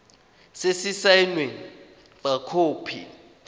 se se saenweng fa khopi